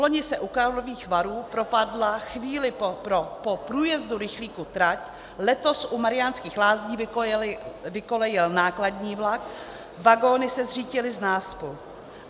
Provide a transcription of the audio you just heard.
Vloni se u Karlových Varů propadla chvíli po průjezdu rychlíku trať, letos u Mariánských Lázní vykolejil nákladní vlak, vagony se zřítily z náspu.